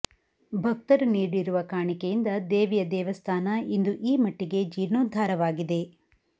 ಭಕ್ತರು ನೀಡಿರುವ ಕಾಣಿಕೆಯಿಂದ ದೇವಿಯ ದೇವಸ್ಥಾನ ಇಂದು ಈ ಮಟ್ಟಿಗೆ ಜೀರ್ಣೋದ್ಧಾರವಾಗಿದೆ